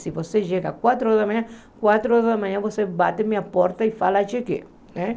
Se você chega às quatro horas da manhã, às quatro horas da manhã você bate na minha porta e fala que cheguei né.